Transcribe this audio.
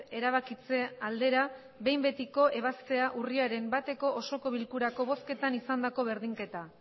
erabakitze aldera behin betiko ebaztea urriaren bateko osoko bilkurako bozketan izandako berdinketa